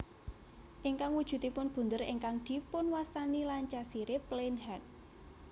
Ingkang wujudipun bunder ingkang dipunwastani Lancashire Plain Head